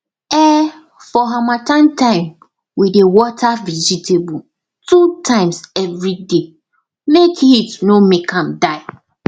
um for harmattan time we dey water vegetable two times every day make heat no make am die